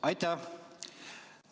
Aitäh!